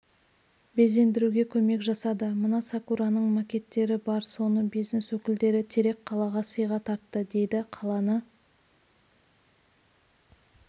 безендіруге көмек жасады мына сакураның макеттері бар соны бизнес өкілдері терек қалаға сыйға тартты дейдіқаланы